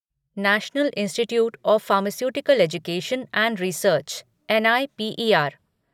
national institute of pharmaceutical education and research N I P E are